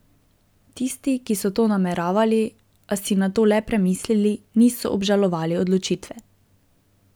Tisti, ki so to nameravali, a si nato le premislili, niso obžalovali odločitve.